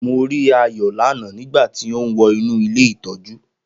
Mo rí Ayo lánáà nígbà tí ó ń wọ inú ilé ìtọ́jú